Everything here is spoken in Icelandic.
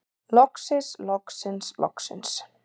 Loksins loksins loksins.